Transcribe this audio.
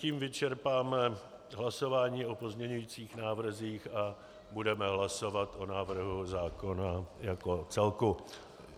Tím vyčerpáme hlasování o pozměňovacích návrzích a budeme hlasovat o návrhu zákona jako celku.